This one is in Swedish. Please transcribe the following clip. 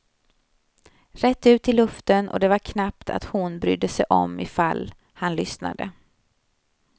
Rätt ut i luften, och det var knappt att hon brydde sig om ifall han lyssnade.